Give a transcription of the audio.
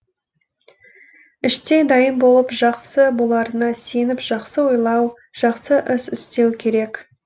іштей дайын болып жақсы боларына сеніп жақсы ойлау жақсы іс істеу керек